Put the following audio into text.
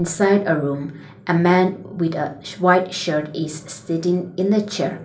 inside a room a man with a sh-white shirt is s-sitting in the chair.